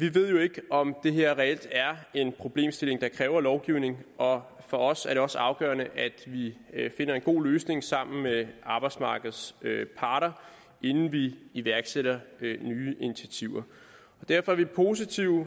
vi ved jo ikke om det her reelt er en problemstilling der kræver lovgivning og for os er det også afgørende at vi finder en god løsning sammen med arbejdsmarkedets parter inden vi iværksætter nye initiativer derfor er vi positive